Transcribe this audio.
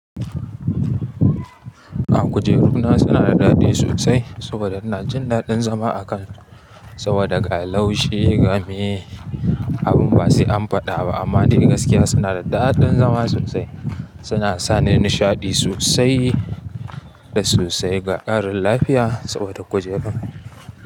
Ahm kujeru na suna da daɗi sosai saboda suna jin daɗin zama a kan su saboda ga laushi gamiye abun ba sai an faɗa ba amma dai gaskiya suna da daɗin zama sosai. Suna sani nishaɗi sosai da sosai ga ƙarin lafiya saboda kujeru.